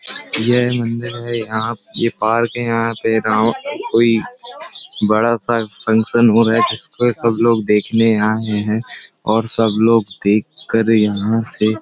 ये है मंदिर है यहाँ ये पार्क है। यहाँ पे गांव कोई बड़ा सा फकंशन हो रहा है जिसको ये सब लोग देखने आए हैं और सब लोग देख कर यहाँ से --